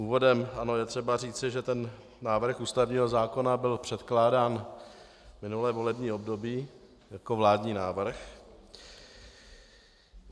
Úvodem je třeba říci, že ten návrh ústavního zákona byl předkládán minulé volební období jako vládní návrh.